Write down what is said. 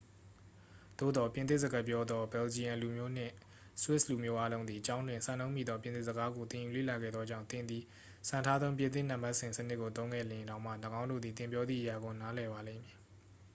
သို့သော် ပြင်သစ်စကားပြောသော ဘယ်လ်ဂျီယံလူမျိုးနှင့် ဆွစ်လူမျိုးအားလုံးသည် ကျောင်းတွင် စံနှုန်းမီသော ပြင်သစ်စကားကို သင်ယူလေ့လာခဲ့သောကြောင့် သင်သည် စံထားသော ပြင်သစ် နံပါတ်စဉ်စနစ်ကိုသုံးခဲ့လျှင်တောင်မှ ၎င်းတို့သည် သင်ပြောသည့်အရာကို နားလည်ပါလိမ့်မည်